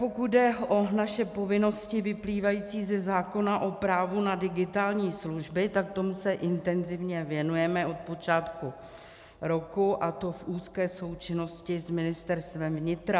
Pokud jde o naše povinnosti vyplývající ze zákona o právu na digitální služby, tak tomu se intenzivně věnujeme od počátku roku, a to v úzké součinnosti s Ministerstvem vnitra.